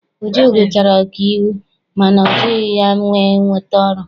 Uju gụchara ọkaiwu mana ọ jighị ya wee nweta ọrụ.